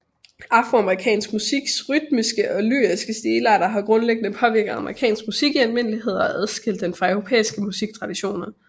Afroamerikansk musiks rytmiske og lyriske stilarter har grundlæggende påvirket amerikansk musik i almindelighed og adskilt den fra europæiske musiktraditioner